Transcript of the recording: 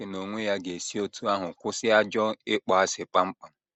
Chineke n’onwe ya ga - esi otú ahụ kwụsị ajọ ịkpọasị kpam kpam.